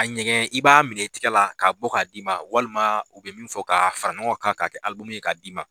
A ɲɛgɛn i b'a minɛ i tɛgɛ la k'a bɔ k'a d'i ma walima u bɛ min fɔ k'a fara ɲɔgɔn kan k'a kɛ ye k'a d'i ma